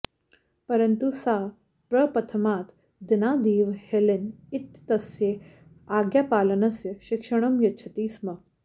परन्तु सा प्रप्रथमात् दिनादेव हेलेन इत्येतस्यै आज्ञापालनस्य शिक्षणं यच्छति स्म